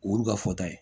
O y'olu ka fɔta ye